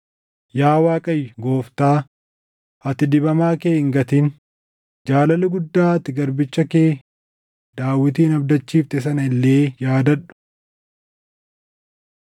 Yaa Waaqayyo, Gooftaa, ati dibamaa kee hin gatin; jaalala guddaa ati garbicha kee Daawitin abdachiifte sana illee yaadadhu.”